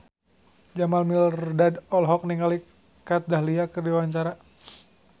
Jamal Mirdad olohok ningali Kat Dahlia keur diwawancara